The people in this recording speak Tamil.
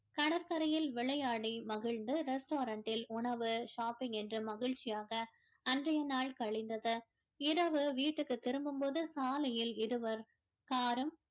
கடற்கரையில் விளையாடி மகிழ்ந்து restaurant ல் உணவு shopping என்று மகிழ்ச்சியாக அன்றைய நாள் கழிந்தது இரவு வீட்டுக்கு திரும்பும் போது சாலையில் இருவர் car உம்